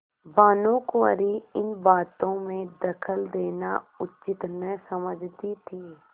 भानुकुँवरि इन बातों में दखल देना उचित न समझती थी